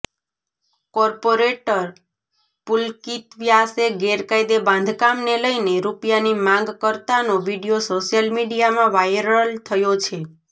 corporator Pulkit વ્યાસે ગેરકાયદે બાંધકામને લઈને રૂપિયાની માગ કરતાનો વીડિયો સોશિયલ મીડિયામાં વાયરલ થયો છે